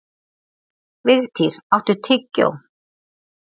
Vigtýr, áttu tyggjó?